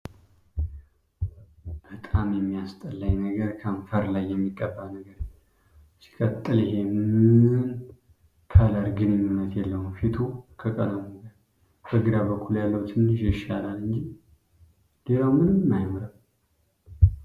በጣም የሚያስጠላኝ ነገር ከንፈር ላይ የሚቀባ ነገር ሲቀጥል ይሔ ምን ከለር ግንኙነች የለውም ፊቱ ከቀለሙ ጋር ፤ በግራ በኩል ያለው ትንሽ ይሻላል እንጂ ሌላው ምንም አያምርም።